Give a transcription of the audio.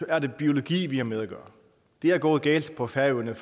er det biologi vi har med at gøre det er gået galt på færøerne